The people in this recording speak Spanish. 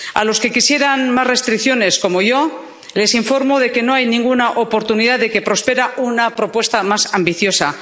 A los que quisieran más restricciones, como yo, les informo de que no hay ninguna oportunidad de que prospere una propuesta más ambiciosa.